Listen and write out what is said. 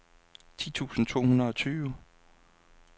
ti tusind to hundrede og tyve